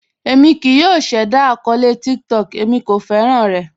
Èmi kíì yọ̀ ṣẹda akọọlẹ̀ TikTok, èmi kò fẹ́ran rẹ̀.